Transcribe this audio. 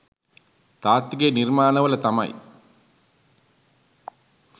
තාත්තිගේ නිර්මාණවල තමයි.